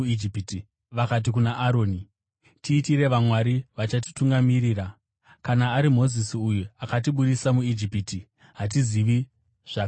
Vakati kuna Aroni, ‘Tiitire vamwari vachatitungamirira. Kana ari Mozisi uyu akatibudisa muIjipiti, hatizivi zvakamuwira!